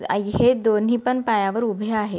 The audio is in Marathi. आई है दोन्ही पण पायावर उभे आहे.